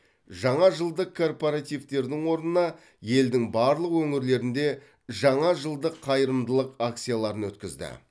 жаңа жылдық корпоративтердің орнына елдің барлық өңірлерінде жаңа жылдық қайырымдылық акцияларын өткізді